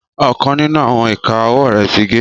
Ọkan ninu awọn ika ọwọ rẹ ti ge